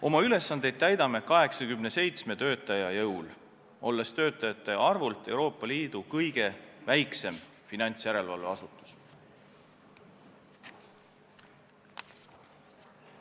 Oma ülesandeid täidame 87 töötaja jõul, olles sellega töötajate arvult Euroopa Liidu kõige väiksem finantsjärelevalveasutus.